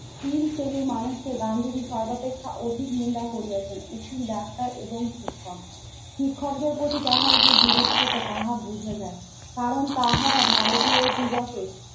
তিন শ্রেণীর মানুষকে গান্ধীজী সর্বাপেক্ষা অধিক নিন্দা করিয়াছেন উকিল, ডাক্তার এবং শিক্ষক। শিক্ষকের প্রতি তাহার বিরুদ্ধতা তাহা বোঝা যায় কারণ তাহারা ভারতীয় দীগকে